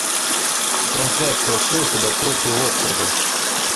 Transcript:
трансляция шеффилда против уотфорда